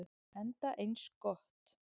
Enda eins gott.